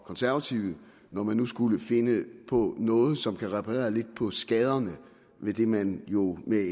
konservative når man nu skulle finde på noget som kan reparere lidt på skaderne ved det man jo med